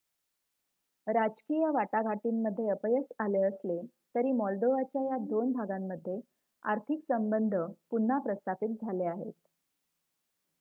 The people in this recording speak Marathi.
राजकीय वाटाघाटींमध्ये अपयश आले असले तरी मॉल्दोव्हाच्या या दोन भागांमध्ये आर्थिक संबंध पुन्हा प्रस्थापित झाले आहेत